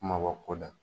Kumaba ko da